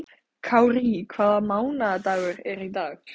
Kárí, hvaða mánaðardagur er í dag?